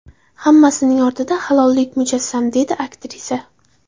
Hammasining ortida halollik mujassam”, dedi aktrisa.